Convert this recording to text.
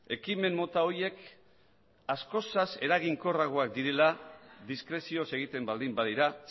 ekimen mota horiek askoz eraginkorragoak direla diskrezioz egiten baldin badira